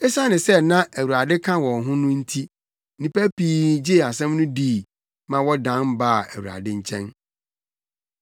Esiane sɛ na Awurade ka wɔn ho no nti nnipa pii gyee asɛm no dii ma wɔdan baa Awurade nkyɛn.